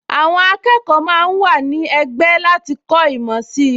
Àwọn akẹ́kọ̀ọ máa ń wà ní ẹgbẹ́ láti kọ́ ìmọ̀ sí i